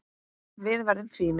Við verðum fínir.